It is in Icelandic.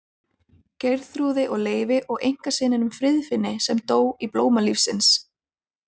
Geirþrúði og Leifi og einkasyninum Friðfinni sem dó í blóma lífsins.